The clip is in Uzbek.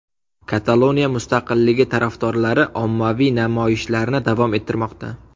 Kataloniya mustaqilligi tarafdorlari ommaviy namoyishlarni davom ettirmoqda.